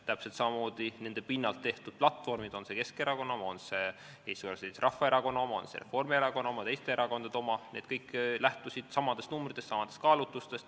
Täpselt samamoodi nende pinnalt tehtud platvormid, kas siis Keskerakonna, Eesti Konservatiivse Rahvaerakonna, Reformierakonna või mõne teise erakonna oma – need kõik lähtusid samadest numbritest, samadest kaalutlustest.